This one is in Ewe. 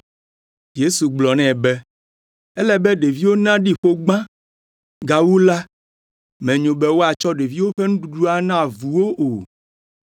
Yesu gblɔ nɛ be, “Ele be ɖeviwo naɖi ƒo gbã; gawu la, menyo be woatsɔ ɖeviwo ƒe nuɖuɖu ana avuwo o.”